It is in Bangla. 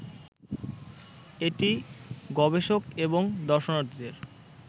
এটি গবেষক এবং দর্শনার্থীদের